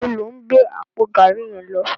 Nibó ló n gbé àpó gàrí yèn lò?